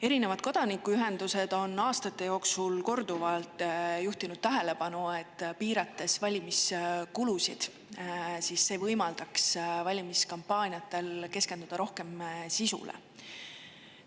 Erinevad kodanikuühendused on aastate jooksul korduvalt juhtinud tähelepanu, et valimiskulude piiramine võimaldaks valimiskampaaniatel rohkem sisule keskenduda.